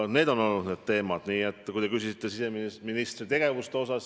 Need on olnud teemad, mis puudutavad siseministri tegevust.